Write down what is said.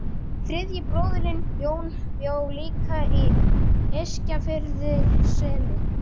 Þriðji bróðirinn, Jón, bjó líka í Eskifjarðarseli.